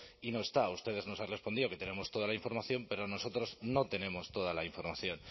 y no está ustedes nos han respondido que tenemos toda la información pero nosotros no tenemos toda la información